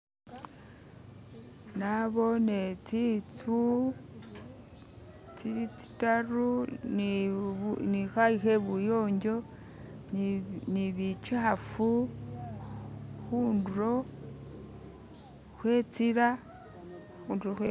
nabone tsitsu tsili tsitaru ni khayu khe buyonjo ni bikyafu khundulo kwetsila